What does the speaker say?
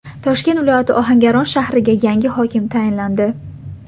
Toshkent viloyati Ohangaron shahriga yangi hokim tayinlandi.